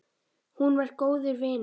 Hún var góður vinur.